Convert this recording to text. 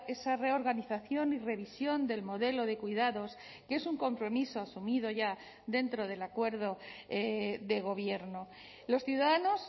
esa reorganización y revisión del modelo de cuidados que es un compromiso asumido ya dentro del acuerdo de gobierno los ciudadanos